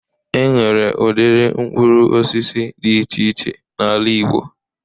E nwere udiri mkpụrụ osisi dị iche iche n'ala igbo.